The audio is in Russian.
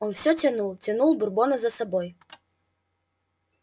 он все тянул тянул бурбона за собой